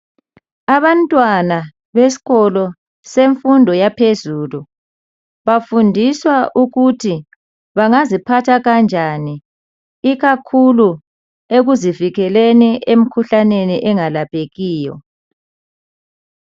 abantwana besikolo semfundo yaphezulu bafundiswa ukuthi bengaziphatha kanjani ikakhulu ekuzivikeleleni emkhuhlaneni engalaphekiyo